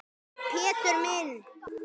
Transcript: Pétur minn.